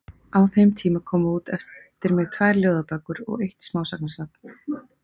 Á þeim tíma komu út eftir mig tvær ljóðabækur og eitt smásagnasafn.